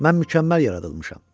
Mən mükəmməl yaradılmışam.